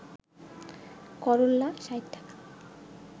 করল্লা ৬০ টাকা